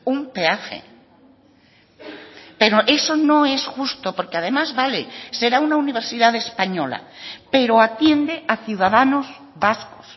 un peaje pero eso no es justo porque además vale será una universidad española pero atiende a ciudadanos vascos